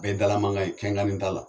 Bɛɛ ye dala mankan ye kɛkanni t'a la.